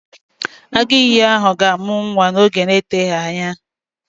Agụ ìyì ahụ ga-amụ nwa n'oge na-eteghị anya